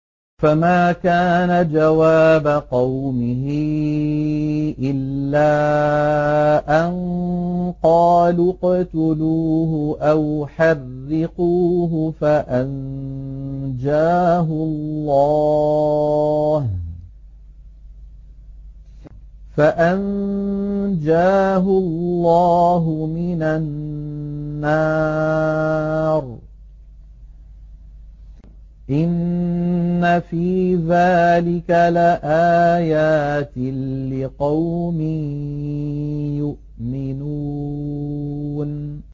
فَمَا كَانَ جَوَابَ قَوْمِهِ إِلَّا أَن قَالُوا اقْتُلُوهُ أَوْ حَرِّقُوهُ فَأَنجَاهُ اللَّهُ مِنَ النَّارِ ۚ إِنَّ فِي ذَٰلِكَ لَآيَاتٍ لِّقَوْمٍ يُؤْمِنُونَ